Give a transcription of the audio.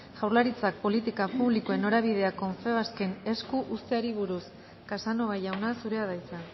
jaurlaritzak politika publikoen norabidea confebasken esku uzteari buruz casanova jauna zurea da hitza